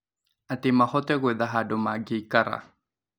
Atĩ mahote gwetha handũ mangĩikara.